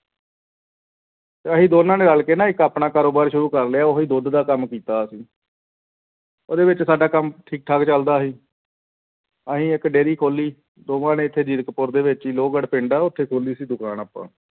ਅਸੀਂ ਦੋਨਾਂ ਨੇ ਰਲ ਕੇ ਨਾ ਇੱਕ ਆਪਣਾ ਕਾਰੋਬਾਰ ਸ਼ੁਰੂ ਕਰ ਲਿਆ ਉਹੀ ਦੁੱਧ ਦਾ ਕੰਮ ਕੀਤਾ ਅਸੀਂ ਉਹਦੇ ਵਿੱਚ ਸਾਡਾ ਕੰਮ ਠੀਕ ਠਾਕ ਚੱਲਦਾ ਸੀ ਅਸੀਂ ਇੱਕ dairy ਖੋਲੀ ਦੋਵਾਂ ਨੇ ਇੱਥੇ ਜੀਰਕਪੁਰ ਦੇ ਵਿੱਚ ਹੀ ਲੋਹਗੜ ਪਿੰਡ ਆ ਉੱਥੇ ਖੋਲੀ ਸੀ ਦੁਕਾਨ ਆਪਾਂ।